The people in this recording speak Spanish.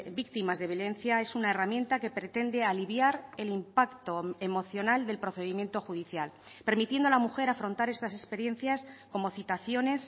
víctimas de violencia es una herramienta que pretende aliviar el impacto emocional del procedimiento judicial permitiendo a la mujer afrontar estas experiencias como citaciones